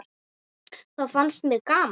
Það fannst mér gaman!